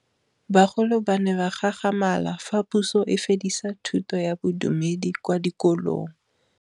Bagolo ba ne ba gakgamala fa Pusô e fedisa thutô ya Bodumedi kwa dikolong.